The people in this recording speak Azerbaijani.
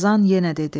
Qazan yenə dedi: